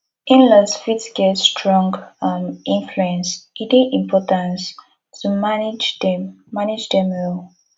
inlaws fit get strong um influence e dey important to manage dem manage dem well